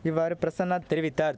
இவ்வாறு பிரசன்னா தெரிவித்தார்